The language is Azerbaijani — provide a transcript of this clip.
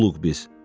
Quluq biz.